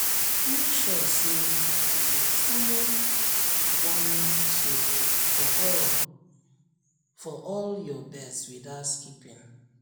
make sure say you dey follow deworming schedule for all for all your birds without skipping